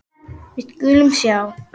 Við skulum sjá.